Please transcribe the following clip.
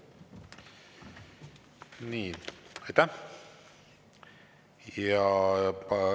Aitäh!